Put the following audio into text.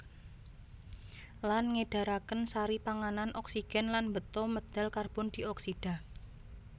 Lan ngedaraken sari panganan oksigen lan mbeta medal karbon dioksida